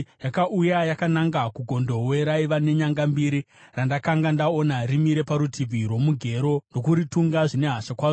Yakauya yakananga kugondobwe raiva nenyanga mbiri randakanga ndaona rimire parutivi rwomugero ndokuritunga zvine hasha kwazvo.